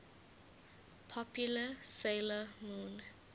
popular 'sailor moon